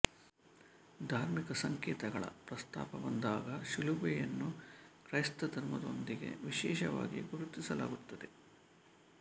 ಧಾರ್ಮಿಕ ಸಂಕೇತಗಳ ಪ್ರಸ್ತಾಪ ಬಂದಾಗ ಶಿಲುಬೆಯನ್ನು ಕ್ರೈಸ್ತಧರ್ಮದೊಂದಿಗೆ ವಿಶೇಷವಾಗಿ ಗುರುತಿಸಲಾಗುತ್ತದೆ